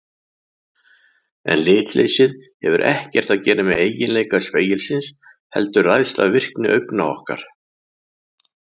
En litleysið hefur ekkert að gera með eiginleika spegilsins heldur ræðst af virkni augna okkar.